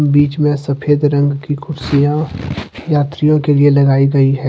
बीच में सफेद रंग की कुर्सियां यात्रियों के लिए लगाई गई है।